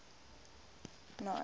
aung san suu